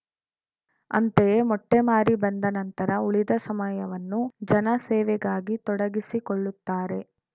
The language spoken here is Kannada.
ಅಂತೆಯೇ ಮೊಟ್ಟೆಮಾರಿ ಬಂದ ನಂತರ ಉಳಿದ ಸಮಯವನ್ನು ಜನ ಸೇವೆಗಾಗಿ ತೊಡಗಿಸಿಕೊಳ್ಳುತ್ತಾರೆ